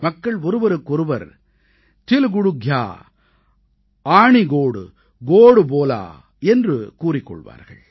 மக்கள் ஒருவருக்கொருவர் தில் குட் க்யா ஆணி கோட் கோட் போலா तिल गुड घ्या आणि गोड़ गोड़ बोला என்று கூறிக் கொள்வார்கள்